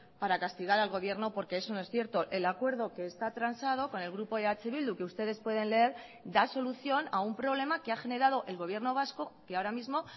para castigar al gobierno porque eso no es cierto el acuerdo que está transado con el grupo eh bildu que ustedes pueden leer da solución a un problema que ha generado el gobierno vasco que ahora mismo